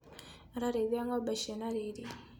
Ararĩithia ngombe cina riri.